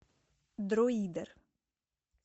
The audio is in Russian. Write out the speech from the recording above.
дроидер